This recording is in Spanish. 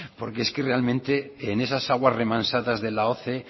porque es que realmente en esas aguas remansadas de la oce